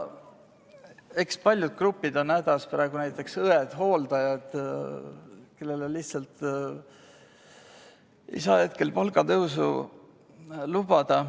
Eks paljud grupid on praegu hädas, näiteks õed-hooldajad, kellele lihtsalt ei saa praegu palgatõusu lubada.